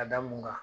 Ka da mun kan